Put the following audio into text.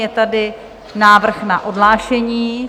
Je tady návrh na odhlášení.